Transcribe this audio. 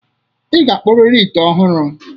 Ị ga-akpụrịrị ite ọhụrụ.